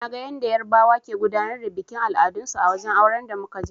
Naga yanda yarbawa ke gudanar da bikin al'adun su a wajen auren da muka je.